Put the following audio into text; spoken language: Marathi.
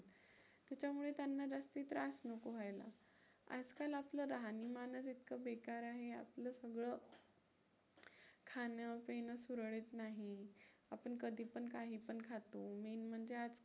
त्याच्यामुळे त्यांना जास्ती त्रास नको व्हायला. आजकाल आपलं राहणीमानच इतकं बेकार आहे की आपलं सगळं खाणं-पिणं सुरळीत नाही, आपण कधीपण काहीपण खातो main म्हणजे आज